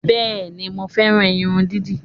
Bẹ́ẹ̀ni, mo fẹ́ran irun dídì